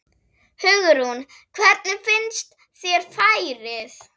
Hugrún: Hvernig finnst þér færið?